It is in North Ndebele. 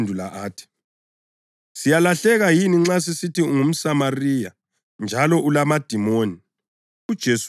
AmaJuda aphendula athi, “Siyalahleka yini nxa sisithi ungumSamariya njalo ulamadimoni?”